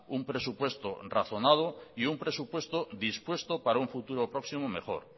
un presupuesto razonado y un presupuesto dispuesto para un futuro próximo mejor